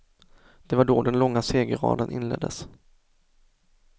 Det var då den långa segerraden inleddes.